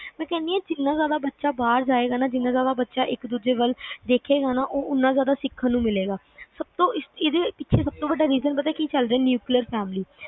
ਮੈਂ ਕਹਿਣੀ ਆ ਕਿ ਜਿੰਨਾ ਜ਼ਿਆਦਾ ਬੱਚਾ ਬਾਹਰ ਜਾਏਗਾ ਨਾ ਜਿੰਨਾ ਜ਼ਿਆਦਾ ਬੱਚਾ ਇੱਕ ਦੂਜੇ ਵੱਲ ਦੇਖੇਗਾ ਉਹਨਾਂ ਜ਼ਿਆਦਾ ਸਿੱਖਣ ਨੂੰ ਮਿਲੇਗਾ ਏਦੇ ਪਿੱਛੇ ਸਬ ਤੋਂ ਵੱਡਾ reason ਪਤਾ ਕਿ ਚੱਲਦਾ ਆ neuclear family